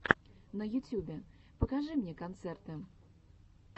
на ютюбе покажи мне концерты